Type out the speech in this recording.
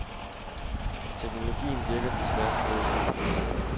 Teknologien virker desværre stadigvæk ikke.